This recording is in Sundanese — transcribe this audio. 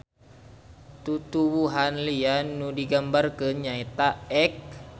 Tutuwuhan lian nu digambarkeun nyaeta ek.